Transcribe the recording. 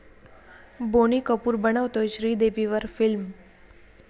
बोनी कपूर बनवतोय श्रीदेवीवर फिल्म